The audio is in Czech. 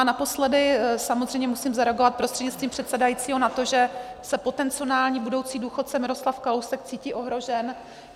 A naposledy samozřejmě musím zareagovat prostřednictvím předsedajícího na to, že se potenciální budoucí důchodce Miroslav Kalousek cítí ohrožen.